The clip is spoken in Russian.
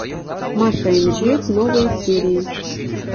маша и медведь новые серии